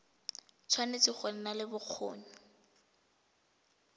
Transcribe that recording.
tshwanetse go nna le bokgoni